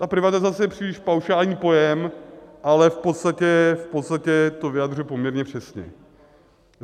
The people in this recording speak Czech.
Ta privatizace je příliš paušální pojem, ale v podstatě to vyjadřuje poměrně přesně.